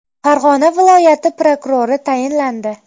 Farg‘ona viloyati prokurori tayinlandi.